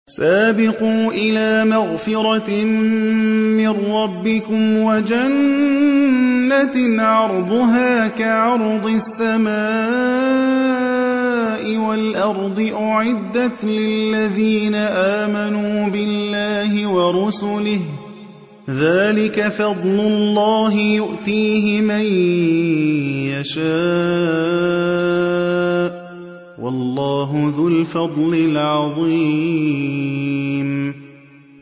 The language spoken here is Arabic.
سَابِقُوا إِلَىٰ مَغْفِرَةٍ مِّن رَّبِّكُمْ وَجَنَّةٍ عَرْضُهَا كَعَرْضِ السَّمَاءِ وَالْأَرْضِ أُعِدَّتْ لِلَّذِينَ آمَنُوا بِاللَّهِ وَرُسُلِهِ ۚ ذَٰلِكَ فَضْلُ اللَّهِ يُؤْتِيهِ مَن يَشَاءُ ۚ وَاللَّهُ ذُو الْفَضْلِ الْعَظِيمِ